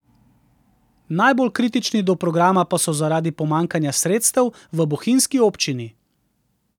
Najbolj kritični do programa pa so zaradi pomanjkanja sredstev v bohinjski občini.